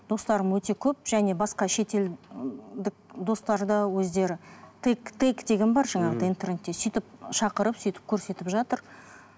достарым өте көп және басқа шетел ііі достар да өздері деген бар жаңағыдай интернетте сөйтіп шақырып сөйтіп көрсетіп жатыр